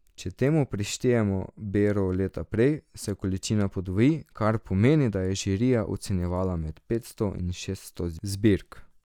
Če temu prištejemo bero leta prej, se količina podvoji, kar pomeni, da je žirija ocenjevala med petsto in šeststo zbirk.